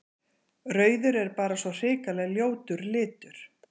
Rauður er bara svo hrikalega ljótur litur.